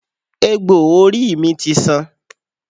Egbò orí mi ti san.